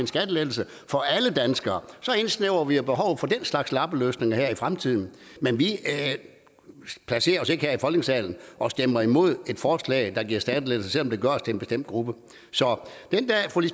en skattelettelse for alle danskere så indsnævrer vi behovet for den slags lappeløsninger her i fremtiden men vi placerer os ikke her i folketingssalen og stemmer imod et forslag der giver skattelettelser selv om det gør os til en bestemt gruppe så